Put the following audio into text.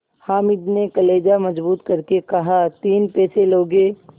हामिद ने कलेजा मजबूत करके कहातीन पैसे लोगे